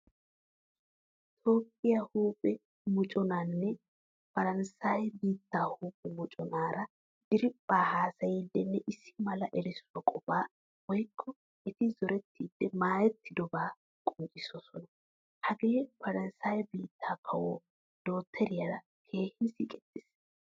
Toopphphiyaa huuphphe mocconaynne Paransayee biittaa huuphphe mocconaara diriphphan haasayidinne issi mala erissuwaa qofaa woykko etti zorettidi maayettidoba qonccisosona. Hagee Paranssaye biittaa kawoy dokteriyaara keehin siiqettees.